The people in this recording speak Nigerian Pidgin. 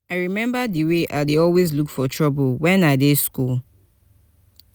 i remember the way i dey always look for trouble wen i dey school